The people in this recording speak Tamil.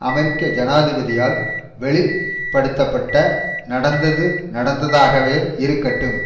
அமெரிக்க ஜனாதிபதியால் வெளிப்படுத்த பட்ட நடந்தது நடந்ததாகவே இருக்கட்டும்